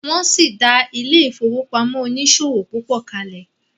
wón sí dá ile-ifowopamọ oniṣòwo pupo kale.